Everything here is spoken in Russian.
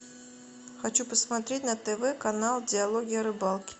хочу посмотреть на тв канал диалоги о рыбалке